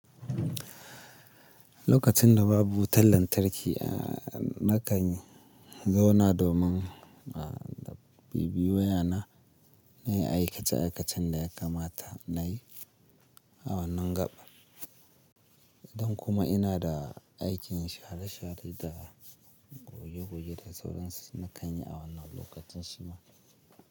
Lokacin da babu wutar lantarki, nakan zauna domin bibiyo wayana na yi aikace-aikacen da ya kamata na yi awannan gaban. In kuma ina da aikin share-share da goge-goge da sauran su, nakan yi awannan lokacin shima.